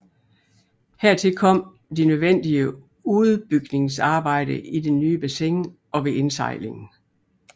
Hertil kom de nødvendige uddybningsarbejder i det nye bassin og ved indsejlingen